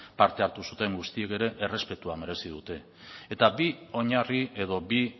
parte hartu zuten guztiek ere errespetua merezi dute eta bi oinarri edo bi